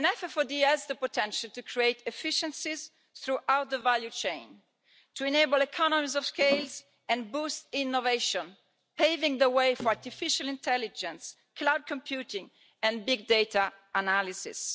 FFoD has the potential to create efficiency throughout the value chain, to enable economies of scale and to boost innovation, paving the way for artificial intelligence, cloud computing and big data analysis.